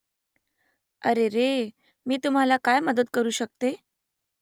अरेरे . मी तुम्हाला काय मदत करू शकते ?